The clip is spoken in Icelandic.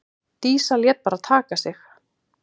Dísa lét bara taka sig.